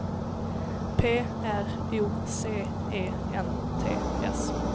P R O C E N T S